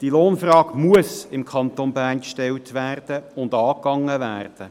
Die Lohnfrage muss im Kanton Bern gestellt und angegangen werden.